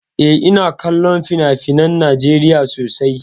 Eh, ina kallon finafinan Najeriya sosai.